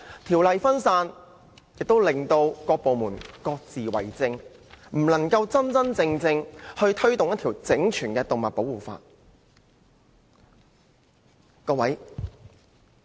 條例分散，以致各部門各自為政，不能真正推動一套整全的動物保護法例。